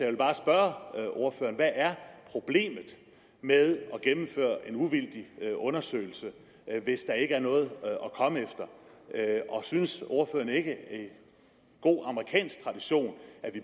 vil bare spørge ordføreren hvad er problemet med at gennemføre en uvildig undersøgelse hvis der ikke er noget at komme efter og synes ordføreren ikke at vi i god amerikansk tradition